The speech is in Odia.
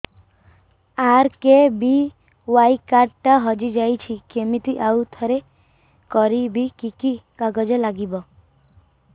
ଆର୍.କେ.ବି.ୱାଇ କାର୍ଡ ଟା ହଜିଯାଇଛି କିମିତି ଆଉଥରେ କରିବି କି କି କାଗଜ ଲାଗିବ